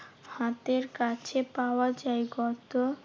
হাতের কাছে পাওয়া যায়। গত